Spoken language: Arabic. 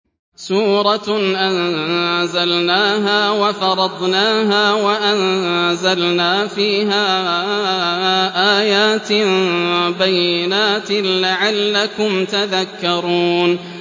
سُورَةٌ أَنزَلْنَاهَا وَفَرَضْنَاهَا وَأَنزَلْنَا فِيهَا آيَاتٍ بَيِّنَاتٍ لَّعَلَّكُمْ تَذَكَّرُونَ